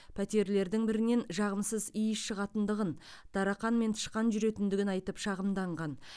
пәтерлердің бірінен жағымсыз иіс шығатындығын тарақан мен тышқан жүретіндігін айтып шағымданған